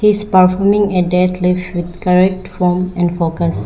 is performing a deadlift with correct form and focus.